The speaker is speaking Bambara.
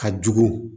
Ka jugu